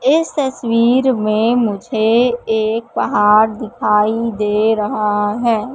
इस तस्वीर में मुझे एक पहाड़ दिखाई दे रहा है।